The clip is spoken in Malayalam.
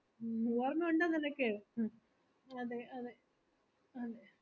മ്മ് ഓർമ്മ ഉണ്ടോ നിനക്ക് അതെ അതെ അതെ